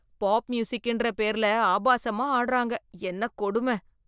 Pop மியூசிக்ன்ற பேர்ல ஆபாசமா ஆடுறாங்க, என்ன கொடும.